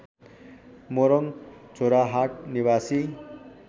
मोरङ झोराहाट निवासी